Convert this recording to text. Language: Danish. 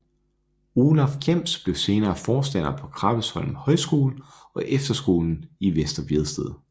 Olaf Kjems blev senere forstander på Krabbesholm Højskole og efterskolen i Vester Vedsted